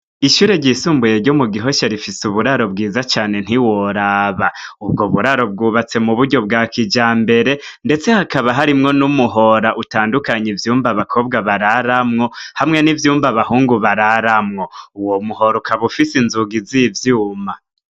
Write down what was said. Ishure ryisumbuye ryo mu gihosha rifise uburaro bwiza cane ntiworaba ubwo buraro bwubatse mu buryo bwa kija mbere, ndetse hakaba harimwo n'umuhora utandukanye ivyumba abakobwa bararamwo hamwe n'ivyumba bahungu bararamwo uwo muhora ukabufise inzugi z'ivyuma.